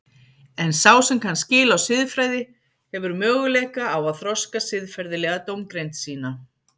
En sá sem kann skil á siðfræði hefur möguleika á að þroska siðferðilega dómgreind sína.